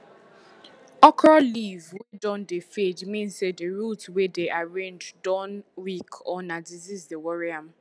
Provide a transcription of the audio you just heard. okro leave wey don dey fade mean say di root wey dem arrange don weak or na disease dey worry am